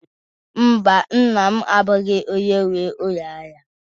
Mba, nna m abụghị onye nwe ụlọ ahịa